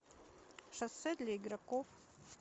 шоссе для игроков